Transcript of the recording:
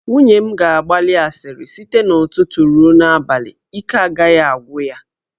Nwunye m ga-agbali asịrị site n'ụtụtụ ruo n'abalị, ike agaghị agwụ ya.